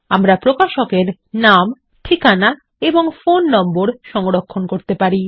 আমরা প্রকাশক এর নাম ঠিকানা ও ফোন নম্বর সংরক্ষণ করতে পারি